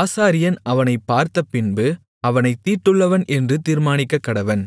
ஆசாரியன் அவனைப் பார்த்தபின்பு அவனைத் தீட்டுள்ளவன் என்று தீர்மானிக்கக்கடவன்